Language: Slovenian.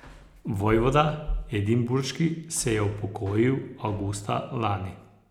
Vojvoda edinburški se je upokojil avgusta lani.